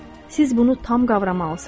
Siz bunu tam qavramalısınız.